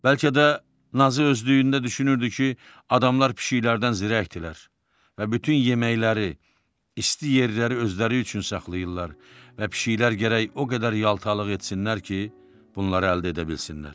Bəlkə də Nazı özlüyündə düşünürdü ki, adamlar pişiklərdən zirəkdilər və bütün yeməkləri, isti yerləri özləri üçün saxlayırlar və pişiklər gərək o qədər yaltaqlıq etsinlər ki, bunları əldə edə bilsinlər.